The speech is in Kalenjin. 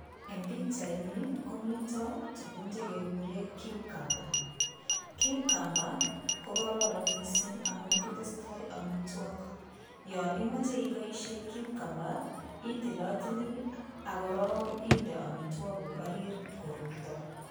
Eng' pikchaini komi tukuk chekekure cucumber cucumber kokororon mising' amun kitestoi omitwok yo imoche iboishen cucumber itilotili akorok inde omitwok kuuk orit korurto